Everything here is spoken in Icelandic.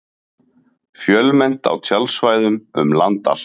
Fjölmennt á tjaldsvæðum um land allt